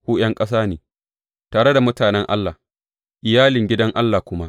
Ku ’yan ƙasa ne tare da mutanen Allah, iyalin gidan Allah kuma.